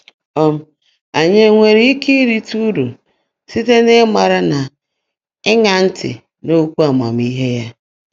um Anyị enwere ike irite uru site n’ịmara na ịṅa ntị n’okwu amamihe ya?